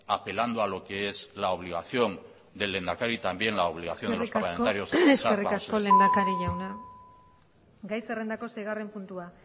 apelando a lo que es la obligación del lehendakari también la obligación eskerrik asko lehendakari jauna gai zerrendako seigarren puntua